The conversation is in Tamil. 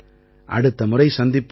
அடுத்த முறை சந்திப்போம்